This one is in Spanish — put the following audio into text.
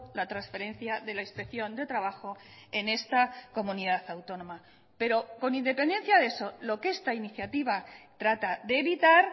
la transferencia de la inspección de trabajo en esta comunidad autónoma pero con independencia de eso lo que esta iniciativa trata de evitar